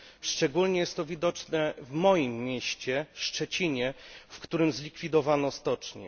Szczególnie jest to widoczne w moim mieście Szczecinie, w którym zlikwidowano stocznię.